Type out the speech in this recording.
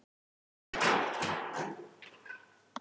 Það var ekkert óeðlilegt við að kaupa nokkra pakka af þeim.